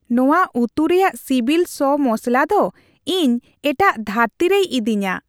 ᱱᱚᱶᱟ ᱩᱛᱩ ᱨᱮᱭᱟᱜ ᱥᱤᱵᱤᱞ ᱥᱚ ᱢᱚᱥᱞᱟ ᱫᱚ ᱤᱧ ᱮᱴᱟᱜ ᱫᱷᱟᱹᱨᱛᱤ ᱨᱮᱭ ᱤᱫᱤᱧᱟ ᱾